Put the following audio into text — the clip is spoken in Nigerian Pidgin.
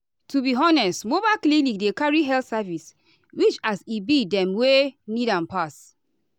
to be honest mobile clinic dey carry health service reachas e be dem wey need am pass.